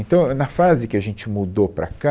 Então, ãh, na fase que a gente mudou para cá,